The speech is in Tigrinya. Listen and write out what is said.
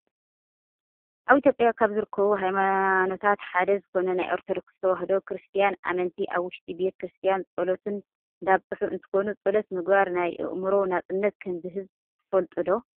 ኣብ ኢትዮጵያ ካብ ዝርከቡ ሃይማኖታት ሓደ ዝኮነ ናይ ኦርቶዶክስ ተዋህዶ ክርስትያን ኣመንቲ ኣብ ውሽጢ ቤተ-ክርስትያን ፆሎቶም እንዳብፅሑ እንትኮኑ፣ ፆሎት ምግባር ናይ ኣእምሮ ነፃነት ከምዝህብ ትፈልጡ ዶ?